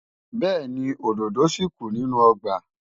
Bẹ́ẹ̀ni, òdòdó ṣì kù nínú ọgbà.